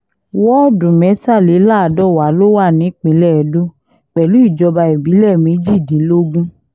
wọ́ọ̀dù mẹ́tàléláàdọ́wà ló wà nípìnlẹ̀ edo pẹ̀lú ìjọba ìbílẹ̀ méjìdínlógún